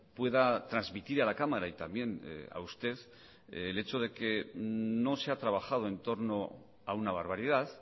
pueda transmitir a la cámara y también a usted el hecho de que no se ha trabajado en torno a una barbaridad